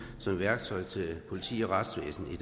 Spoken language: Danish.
som værktøj til politi og retsvæsen i